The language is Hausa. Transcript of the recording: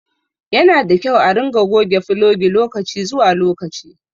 Yanada kyau a ringa goge fulogi lokaci zuwa lokaci